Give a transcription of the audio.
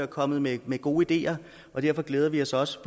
kommet med gode ideer og derfor glæder vi os også